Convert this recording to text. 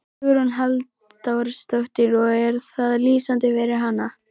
Hugrún Halldórsdóttir: Og er það lýsandi fyrir hana?